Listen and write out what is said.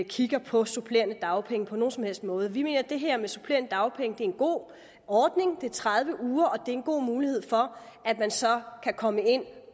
kigger på supplerende dagpenge på nogen som helst måde vi mener at det her med supplerende dagpenge er en god ordning det er tredive uger og det er en god mulighed for at man så kan komme ind